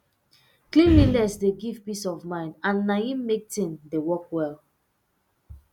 cleanliness dey give peace of mind and na em make thing dey work well